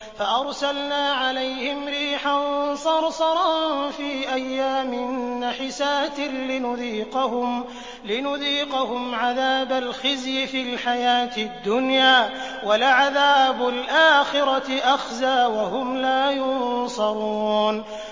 فَأَرْسَلْنَا عَلَيْهِمْ رِيحًا صَرْصَرًا فِي أَيَّامٍ نَّحِسَاتٍ لِّنُذِيقَهُمْ عَذَابَ الْخِزْيِ فِي الْحَيَاةِ الدُّنْيَا ۖ وَلَعَذَابُ الْآخِرَةِ أَخْزَىٰ ۖ وَهُمْ لَا يُنصَرُونَ